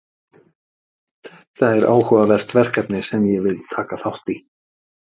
Þetta er áhugavert verkefni sem ég vil taka þátt í.